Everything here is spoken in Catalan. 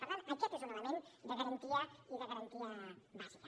per tant aquest és un element de garantia i de garantia bàsica